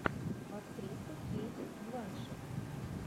актриса кейт бланшетт